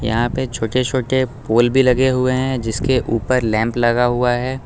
यहां पे छोटे छोटे पोल भी लगे हुए हैं जिसके ऊपर लैंप लगा हुआ है।